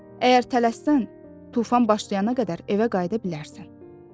Əgər tələssən, tufan başlayana qədər evə qayıda bilərsən.